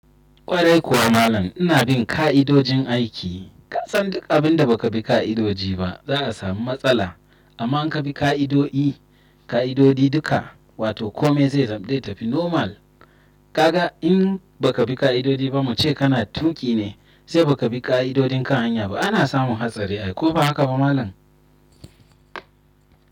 Kwarai kuwa malam ina bin ka'idojin aiki. Ka san duk abinda baka bi ka'idoji ba za a samu matsala. Amma in ka bi ka'idoi, ka'idodi duka, wato kome zai tafi normal. Kaga in ba ka bi ka'idodi ba mu ce kana tuki ne, sai ba ka bi ka'idodin kan hanya ba ana samun hatsari. Ai ko ba haka ba malam?